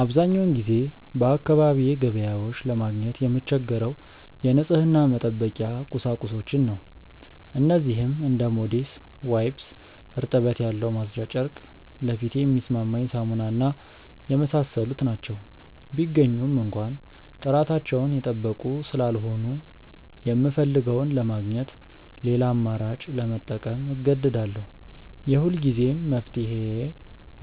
አብዛኛውን ጊዜ በአካባቢዬ ገበያዎች ለማግኘት የምቸገረው የንጽህና መጠበቂያ ቁሳቁሶችን ነው። እነዚህም እንደ ሞዴስ፣ ዋይፕስ (እርጥበት ያለው ማጽጃ ጨርቅ)፣ ለፊቴ የሚስማማኝ ሳሙና እና የመሳሰሉት ናቸው። ቢገኙም እንኳ ጥራታቸውን የጠበቁ ስላልሆኑ፣ የምፈልገውን ለማግኘት ሌላ አማራጭ ለመጠቀም እገደዳለሁ። የሁልጊዜም መፍትሄዬ